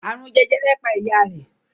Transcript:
Àrùn jẹjẹrẹ pa ìyá rẹ̀